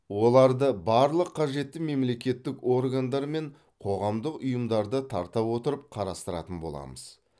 оларды барлық қажетті мемлекеттік органдар мен қоғамдық ұйымдарды тарта отырып қарастыратын боламыз